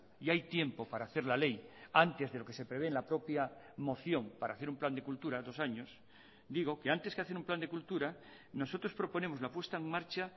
y hay tiempo para hacer la ley antes de lo que se prevé en la propia moción para hacer un plan de cultura dos años digo que antes que hacer un plan de cultura nosotros proponemos la puesta en marcha